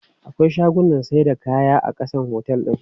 Akwai shagunnan saida kaya a ƙasan otel din.